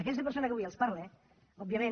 aquesta persona que avui els parla òbviament